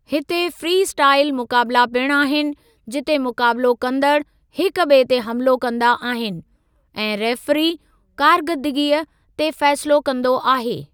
हिते freestyle मुक़ाबिला पिणु आहिनि, जिते मुक़ाबलो कंदड़ हिक ॿिऐ ते हमलो कंदा आहिनि, ऐं रेफ़्री कार्करदगी ते फ़ेसिलो कंदो आहे।